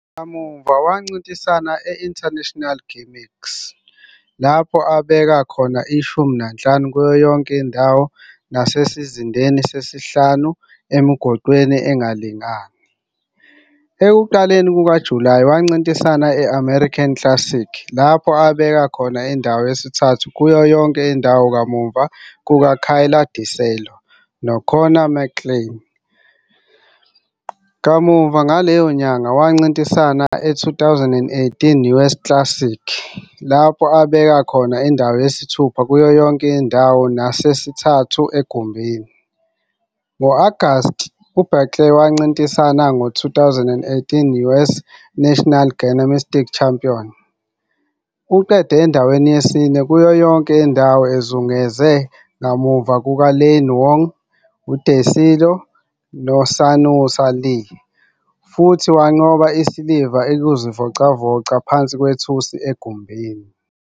Kamuva wancintisana e-International Gymnix lapho abeka khona ishumi nanhlanu kuyo yonke indawo nasesizindeni sesihlanu emigoqweni engalingani. Ekuqaleni kukaJulayi, wancintisana e-American Classic lapho abeka khona indawo yesithathu kuyo yonke indawo ngemuva kukaKayla DiCello noKonnor McClain. Kamuva ngaleyo nyanga wancintisana e-2018 US Classic lapho abeka khona indawo yesithupha kuyo yonke indawo nasesithathu egumbini. Ngo-Agasti Blakely wancintisana ku-2018 US National Gymnastics Championship. Uqede endaweni yesine kuyo yonke indawo ezungeze ngemuva kukaLeanne Wong, uDiCello, noSunisa Lee futhi wanqoba isiliva ekuzivocavoca phansi nethusi egumbini.